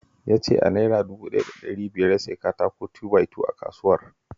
Ya ce Naira dubu ɗaya da ɗari biyar ya siyo katako 2-by-2 a kasuwar